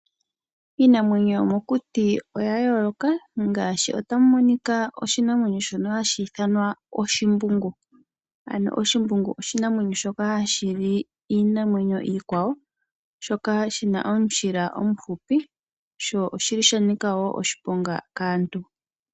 Iinamwenyo yomokuti oya yooloka ngaashi tamu monika oshinamwenyo shono hashi ithanwa oshimbungu, ano oshimbungu osho oshinamwenyo shono hashi li iinamwenyo iikwawo, shoka shina omushila omufupi, sho oshili shanika wo oshiponga kaantu.